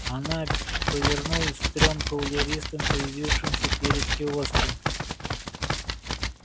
она повернулась к трём кавалеристам появившимся перед киоском